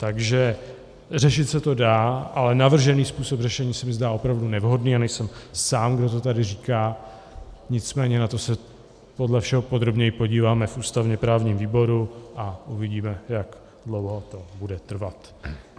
Takže řešit se to dá, ale navržený způsob řešení se mi zdá opravdu nevhodný a nejsem sám, kdo to tady říká, nicméně na to se podle všeho podrobněji podíváme v ústavně-právním výboru a uvidíme, jak dlouho to bude trvat.